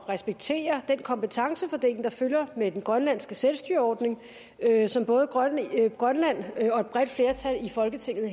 respektere den kompetencefordeling der følger med den grønlandske selvstyreordning som både grønland grønland og et bredt flertal i folketinget